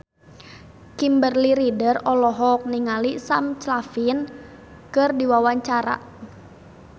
Kimberly Ryder olohok ningali Sam Claflin keur diwawancara